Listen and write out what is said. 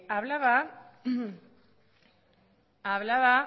hablaba